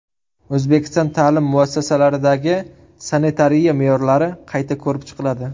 O‘zbekiston ta’lim muassasalaridagi sanitariya me’yorlari qayta ko‘rib chiqiladi.